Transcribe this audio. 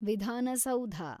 ವಿಧಾನ ಸೌಧ